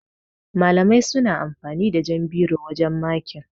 Malamai suna amfani da jan biro wajan makin.